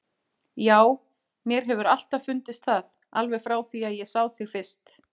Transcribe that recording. Já, mér hefur alltaf fundist það, alveg frá því ég sá þig fyrst.